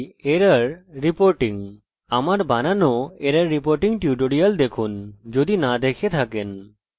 যদি আপনি একে 0 তে সেট করেছেন